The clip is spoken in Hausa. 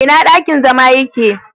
Ina dakin zama yake?